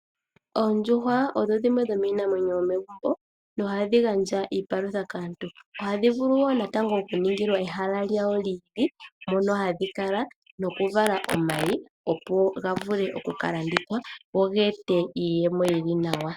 Oondjuhwa odho dhimwe yomiinamwenyo yomegumbo nohadhi gandja iipalutha kaantu. Ohadhi vulu wo natango okuningilwa ehala lyawo lyi ili mono hadhi kala nokuvala omayi, opo ga vule okukalandithwa go ge ete po iiyemo yi li nawa.